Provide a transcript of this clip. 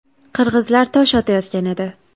Qirg‘izlar tosh otayotgan edi.